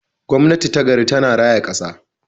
Gwamnati ta gari tana raya kasa.